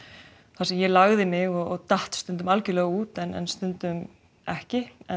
þar sem ég lagði mig og datt stundum algjörlega út en stundum ekki